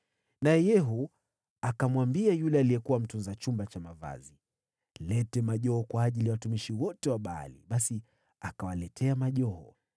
Naye Yehu akamwambia yule aliyekuwa mtunza chumba cha mavazi, “Leta majoho kwa ajili ya watumishi wote wa Baali.” Basi akawaletea majoho.